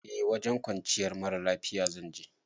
Eh wajen kwanciyar mara lafiya zan je